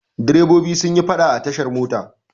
Direbobi sun yi faɗa a tashar mota.